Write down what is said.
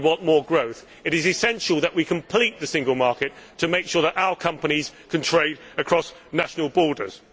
We want more growth and it is essential that we complete the single market to make sure that our companies can trade across national borders.